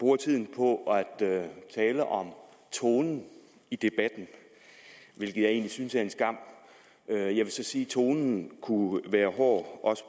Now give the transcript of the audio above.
bruger tiden på at tale om tonen i debatten hvilket jeg egentlig synes er en skam jeg vil så sige at tonen kunne være hård også